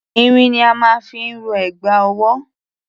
Irin ni a máa ń fi rọ ẹ̀gbà ọwọ́.